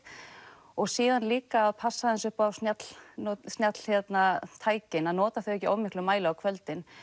og síðan líka passa upp á snjalltækin að nota þau ekki í of miklum mæli á kvöldin